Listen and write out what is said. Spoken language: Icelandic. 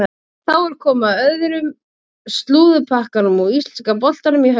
Þá er komið að öðrum slúðurpakkanum úr íslenska boltanum í haust.